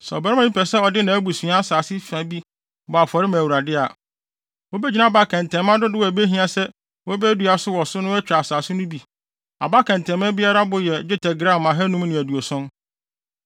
“ ‘Sɛ ɔbarima bi pɛ sɛ ɔde nʼabusua asase fa bi bɔ afɔre ma Awurade a, wobegyina aba kɛntɛnma dodow a ebehia sɛ wobedua wɔ so no so atwa asase no bo; aba kɛntɛnma biara bo yɛ dwetɛ gram ahannum ne aduoson (570).